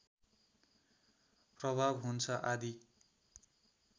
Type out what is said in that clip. प्रभाव हुन्छ आदि